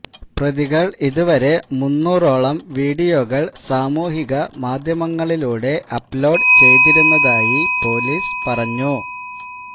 പ്രതികൾ ഇതുവരെ മൂന്നുറോളം വീഡിയോകൾ സാമൂഹികമാധ്യമങ്ങളിലൂടെ അപ് ലോഡ് ചെയ്തിരുന്നതായി പൊലീസ് പറഞ്ഞു